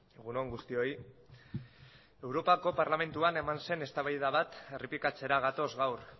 egun on guztioi europako parlamentuan eman zen eztabaida bat errepikatzera gatoz gaur